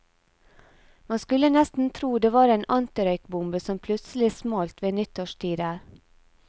Man skulle nesten tro det var en antirøykbombe som plutselig smalt ved nyttårstider.